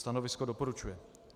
Stanovisko doporučuje.